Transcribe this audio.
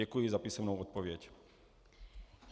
Děkuji za písemnou odpověď.